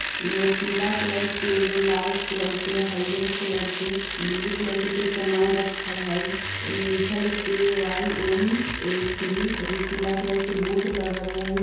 इ में पीला कलर के एगो लाल कलर के हरिहर कलर के ब्लू कलर के कोई सामान रखल हई इ में लिखल हय के वाई एन ए पी एगो पीला कलर के बोर्ड लगल हई।